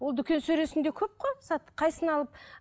ол дүкен сөресінде көп қой зат алып